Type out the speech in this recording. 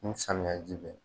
Ni samiya ji bɛ